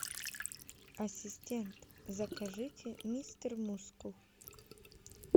ассистент закажите мистер мускул